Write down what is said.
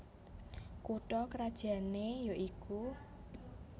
Kutha krajané ya iku